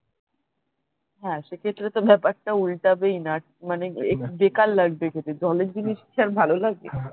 সেক্ষেত্রে তো ব্যাপার টা উল্টাবেইনা মানে বেকার লাগবে খেতে জলের জিনিস কি র ভালো লাগবে